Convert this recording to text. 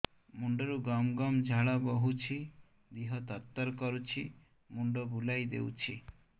ମୁଣ୍ଡରୁ ଗମ ଗମ ଝାଳ ବହୁଛି ଦିହ ତର ତର କରୁଛି ମୁଣ୍ଡ ବୁଲାଇ ଦେଉଛି